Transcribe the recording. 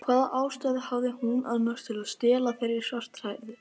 Hvaða ástæðu hafði hún annars til að stela þeirri svarthærðu?